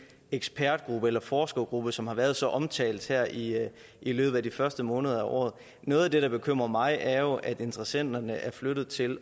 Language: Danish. ekspertgruppe eller forskergruppe som har været så omtalt her i i løbet af årets første måneder noget af det der bekymrer mig er jo at interessenterne er flyttet til